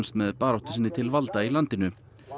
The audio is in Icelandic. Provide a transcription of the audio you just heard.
með baráttu sinni til valda í landinu